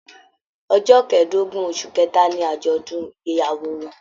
Ọjọ kẹ̀ẹ̀dógún oṣù kẹta ní ajọdun ìgbéyàwó wọn.